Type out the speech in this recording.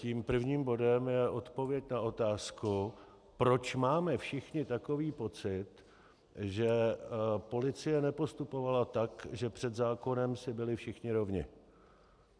Tím prvním bodem je odpověď na otázku, proč máme všichni takový pocit, že policie nepostupovala tak, že před zákonem si byli všichni rovni.